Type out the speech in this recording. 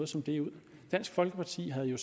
som det ud dansk folkeparti havde jo